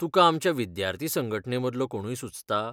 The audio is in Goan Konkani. तुका आमच्या विद्यार्थी संघटनेमदलो कोणूय सुचता?